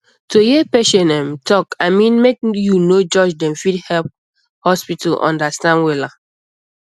to hear patient um talk i mean make you no judge dem fit help um hospital understand wella